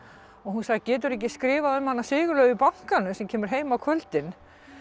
hún sagði geturðu ekki skrifað um Sigurlaugu í bankanum sem kemur heim á kvöldin